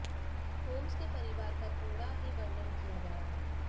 Holmes के परिवार का थोड़ा ही वर्णन किया गया है